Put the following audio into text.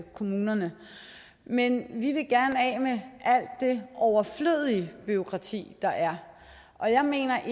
kommunerne men vi vil gerne af med alt det overflødige bureaukrati der er og jeg mener